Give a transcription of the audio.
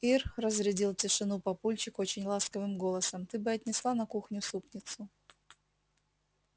ир разрядил тишину папульчик очень ласковым голосом ты бы отнесла на кухню супницу